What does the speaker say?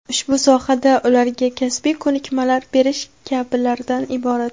ushbu sohada ularga kasbiy ko‘nikmalar berish kabilardan iborat.